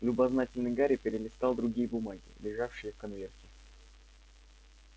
любознательный гарри перелистал другие бумаги лежавшие в конверте